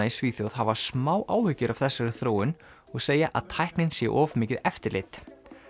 í Svíþjóð hafa smá áhyggjur af þessari þróun og segja að tæknin sé of mikið eftirlit